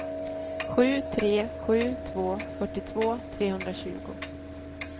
sju tre sju två fyrtiotvå trehundratjugo